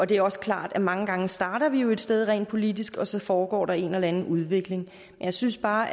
det er også klart at mange gange starter vi jo et sted rent politisk og så foregår der en eller anden udvikling jeg synes bare